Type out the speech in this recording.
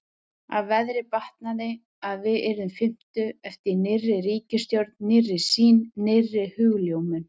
Að veðrið batnaði, að við yrðum fimmtug- eftir nýrri ríkisstjórn, nýrri sýn, nýrri hugljómun.